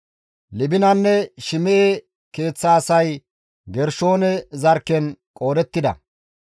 Libinanne Shim7e keeththa asay Gershoone zarkken qoodettida.